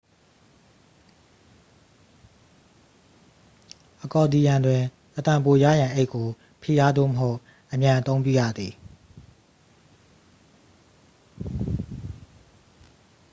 အကော်ဒီယံတွင် အသံပိုရရန် အိတ်ကို ဖိအားသို့မဟုတ် အမြန်အသုံးပြုရသည်